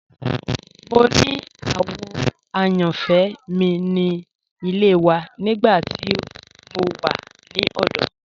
Mo ni àwò àyànfẹ́ mi ni ilẹ̀ wà nígbà tí mo wà ni ọdọ.